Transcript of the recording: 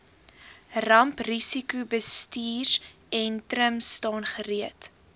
ramprisikobestuursentrum staan gereed